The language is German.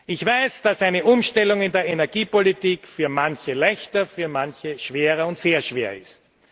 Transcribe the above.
Ich weiß, dass eine Umstellung in der Energiepolitik für manche leichter, für manche schwerer und sehr schwer ist.